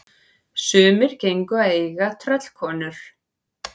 Sumir gengu að eiga tröllkonur.